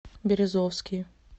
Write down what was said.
березовский